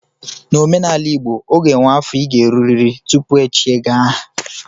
N'omenala igbo, o ga enwe afọ ị ga-erurịrị tupu e echie gị aha